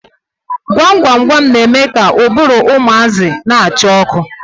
Gwam gwam gwam na-eme ka ụbụrụ ụmụazị na-acha ọkụ.